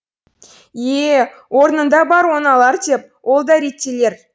е е орнында бар оңалар деп ол да реттелер